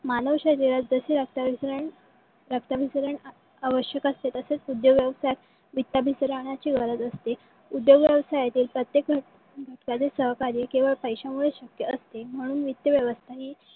मानव शरीरात जसे रक्ताभिसरण रक्ताभिसरण आवश्यक असते तसे उद्योग व्यवसाय वित्तभिसारणाची गरज असते. उद्योग व्यवसायातील प्रत्येक घटका घटकातील सहकार्य केवळ पैसीयमुळे शक्य असते म्हणून वित्त व्यवस्थाही